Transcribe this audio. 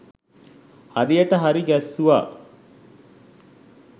හරියට හරි ගැස්සුවා.